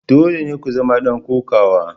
Dole ne ku zama dan kokawa.